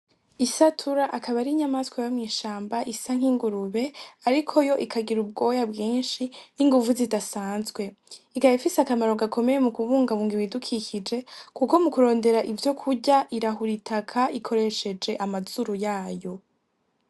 Isatura akaba ar'inyamaswa yo mw'ishamba isa nk'ingurube ariko yo ikagira ubwoya bwinshi n'inguvu zidasanzwe, ikaba ifise akamaro gakomeye mu kubungabunga ibidukikije kuko mu kurondera ivyo kurya irahura itaka ikoresheje amazuru yayo.